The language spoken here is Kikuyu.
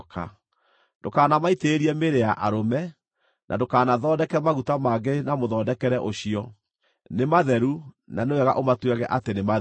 Ndũkanamaitĩrĩrie mĩĩrĩ ya arũme, na ndũkanathondeke maguta mangĩ na mũthondekere ũcio. Nĩ matheru na nĩ wega ũmatuage atĩ nĩ matheru.